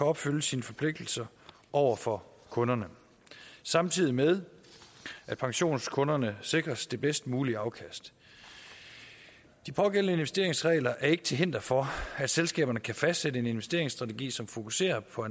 opfylde sine forpligtelser over for kunderne samtidig med at pensionskunderne sikres det bedst mulige afkast de pågældende investeringsregler er ikke til hinder for at selskaberne kan fastsætte en investeringsstrategi som fokuserer på